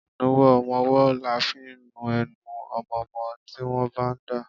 Ìnuwọ́ ọmọwọ́ là fi ń nu enu ọmọmọ́ tí wọ́n bá ń dà.